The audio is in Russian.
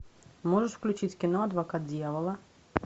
можешь включить кино адвокат дьявола